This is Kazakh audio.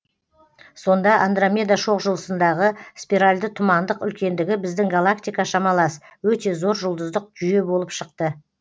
сонда андромеда шоқжұлдызындағы спиральды тұмандық үлкендігі біздің галактика шамалас өте зор жұлдыздық жүйе болып шықты